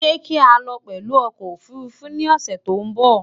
Sé kii alo pęlú okò òfurufú ni òsę tín bò?